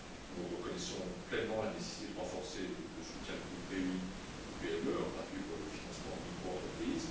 Nous reconnaissons pleinement la nécessité de renforcer le soutien du groupe BEI aux PME, en particulier pour le financement de micro entreprises.